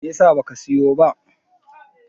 me yasa ba ka siyo ba?